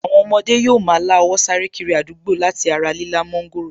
Àwọn ọmọdé yóò ma lá owó sáré kiri àdúgbò láti ara lílá mọ́ńgòrò